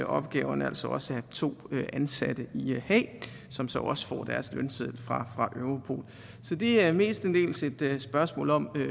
opgaverne altså også af to ansatte i haag som så også får deres lønseddel fra europol så det er mestendels et spørgsmål om